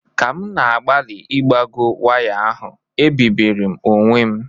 Ka m na-agbalị ịgbagọ waya ahụ, ebibiri m onwe m